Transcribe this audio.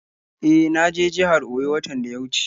E, na je jihar Oyo watan da ya wuce.